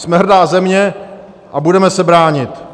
Jsme hrdá země a budeme se bránit!